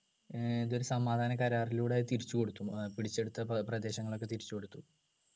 ഏർ ഇതൊരു സമാധാന കരാറിലൂടെ അത് തിരിച്ചു കൊടുത്തു ഏർ പിടിച്ചെടുത്ത പ്ര പ്രദേശങ്ങളൊക്കെ തിരിച്ചു കൊടുത്തു